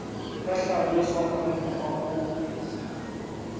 ka hlaloswa ka mokgwa o